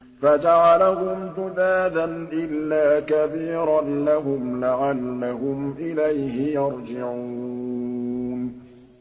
فَجَعَلَهُمْ جُذَاذًا إِلَّا كَبِيرًا لَّهُمْ لَعَلَّهُمْ إِلَيْهِ يَرْجِعُونَ